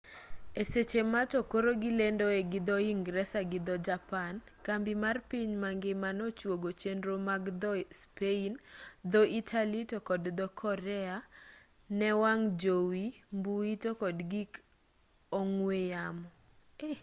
e seche ma to koro gilendoe gi dho-ingresa gi dho-japan kambi mar piny mangima no chuogo chenro mag dho-spain dho-italy to kod dho-korea ne wang' jowi mbui to kod gik ong'we yamo